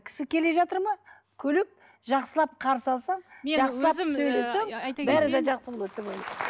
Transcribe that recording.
кісі келе жатыр ма күліп жақсылап қарсы алсаң жақсылап сөйлесең бәрі де жақсы болады деп ойлаймын